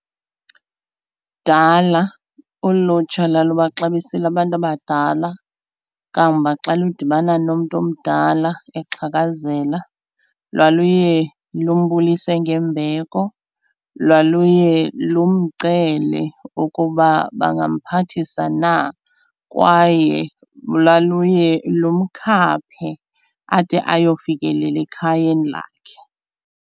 Kudala ulutsha lalubaxabisile abantu abadala kangoba xa lidibana nomntu omdala exhakazela lwaluye lumbulise ngembeko, lwaluye lumcele ukuba bangamphathisa na kwaye lwaluye lumkhaphe ade ayofikelela ekhayeni lakhe.